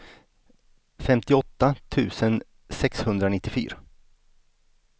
femtioåtta tusen sexhundranittiofyra